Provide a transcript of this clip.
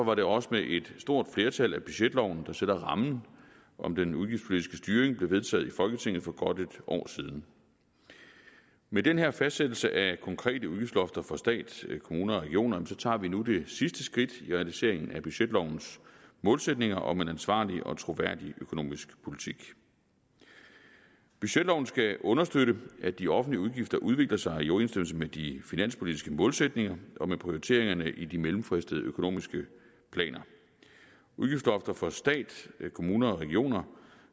var det også med et stort flertal at budgetloven der sætter rammen om den udgiftspolitiske styring blev vedtaget i folketinget for godt et år siden med den her fastsættelse af konkrete udgiftslofter for stat kommuner og regioner tager vi nu det sidste skridt i realiseringen af budgetlovens målsætninger om en ansvarlig og troværdig økonomisk politik budgetloven skal understøtte at de offentlige udgifter udvikler sig i overensstemmelse med de finanspolitiske målsætninger og med prioriteringerne i de mellemfristede økonomiske planer udgiftslofter for stat kommuner og regioner